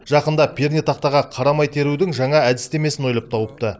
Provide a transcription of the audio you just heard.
жақында пернетақтаға қарамай терудің жаңа әдістемесін ойлап тауыпты